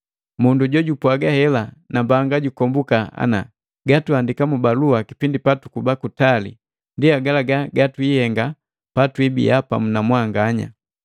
Mundu jojupwaga hela nambanga jukombuka ana, gatuandika mu balua kipindi patukuba kutali ndi agalaga gatwihenga patwibiya pamu na mwanganya.